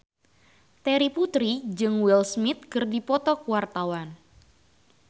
Terry Putri jeung Will Smith keur dipoto ku wartawan